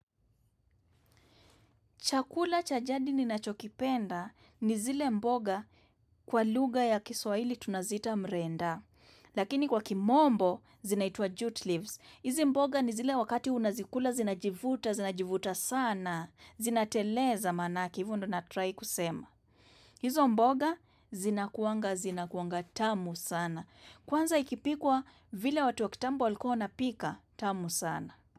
Chakula cha jadi ninachokipenda ni zile mboga kwa lugha ya kiswahili tunaziita mrenda. Lakini kwa kimombo, zinaitwa jute leaves. Hizi mboga ni zile wakati unazikula, zinajivuta, zinajivuta sana. Zinateleza manake, hivo ndo natry kusema. Hizo mboga, zinakuwanga, zinakuwanga tamu sana. Kwanza ikipikwa vile watu wa kitambo walikuwa wapika, tamu sana.